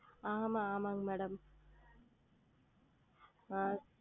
ஆமாம் ஆமாம் Madam ஆஹ்